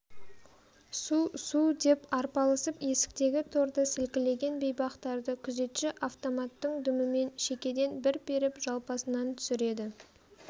су-су деп арпалысып есіктегі торды сілкілеген бейбақтарды күзетші автоматтың дүмімен шекеден бір періп жалпасынан түсіреді